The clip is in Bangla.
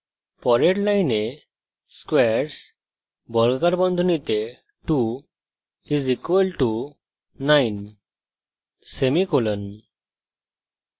পরের line squares 2 = 9;